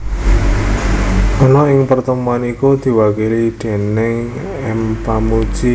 ana ing pertemuan iku diwakili déning M Pamoedji